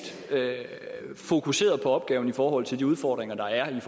fokuseret på opgaven i forhold til de udfordringer der er